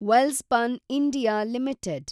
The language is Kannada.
Welspun India limited